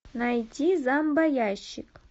найти зомбоящик